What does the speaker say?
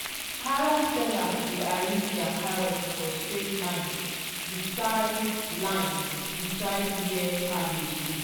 carrot sellers dey arrange their carrots for straight line beside line beside where cabbage dey.